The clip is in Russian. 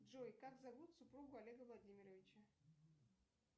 джой как зовут супругу олега владимировича